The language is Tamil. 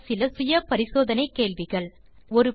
தீர்வு காண சில செல்ஃப் அசெஸ்மென்ட் கேள்விகள் 1